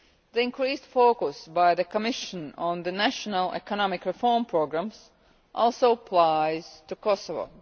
The increased focus by the Commission on the national economic reform programmes also applies to Kosovo.